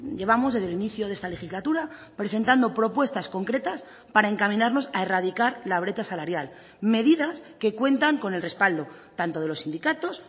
llevamos desde el inicio de esta legislatura presentando propuestas concretas para encaminarnos a erradicar la brecha salarial medidas que cuentan con el respaldo tanto de los sindicatos